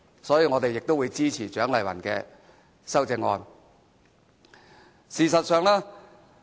因此，我們會支持蔣麗芸議員的修正案。